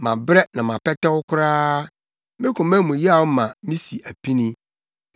Mabrɛ na mapɛtɛw koraa. Me koma mu yaw ma misi apini.